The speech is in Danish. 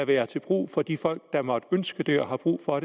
være til brug for de folk der måtte ønske det og har brug for